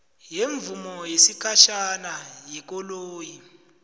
semvumo yesikhatjhana yekoloyi